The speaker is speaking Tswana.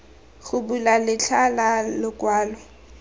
go bula letlha la lokwalo